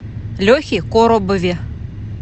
лехе коробове